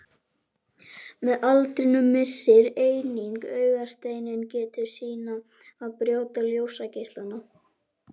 Með aldrinum missir einnig augasteinninn getu sína að brjóta ljósgeislana.